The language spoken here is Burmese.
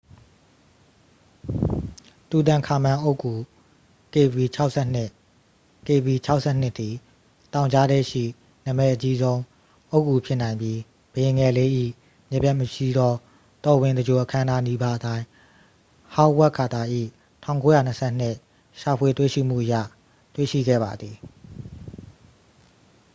"""တူတန်ခါမန် အုတ်ဂူ kv၆၂. kv၆၂ သည် တောင်ကြားထဲရှိ နာမည်အကြီးဆုံး အုတ်ဂူဖြစ်နိုင်ပြီး ဘုရင်ငယ်လေး၏ မပျက်မစီးသော တော်ဝင်သင်္ဂြိုလ်အခမ်းအနားနီးပါးအတိုင်း ဟောင်းဝပ်ကာတာ၏ ၁၉၂၂ ရှာဖွေတွေ့ရှိမှုအရ တွေ့ရှိခဲ့ပါသည်။""